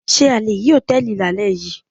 Ṣé a le rí Hòtẹ́lìì lálẹ́ yìí.